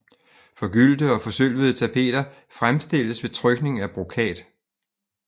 Forgyldte og forsølvede tapeter fremstilles ved påtrykning af brokat